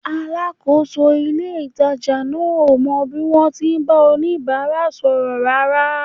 Alákòóso ilé-ìtàjà náà ò mọ bí wọ́n ti ń bá oníbàárà sọ̀rọ̀ rárá